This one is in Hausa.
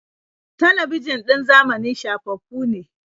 Talabijin ɗin zamani shafaffu ne.